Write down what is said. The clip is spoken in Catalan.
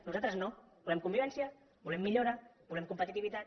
nosaltres no volem convivència volem millora volem competitivitat